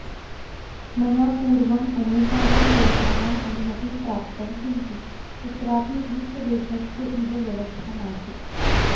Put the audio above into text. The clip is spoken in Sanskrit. मया पूर्वम् अनेकानां देशानाम् अनुमतिं प्राप्तं किन्तु कुत्रापि रूसदेशस्य इव व्यवस्था नासीत्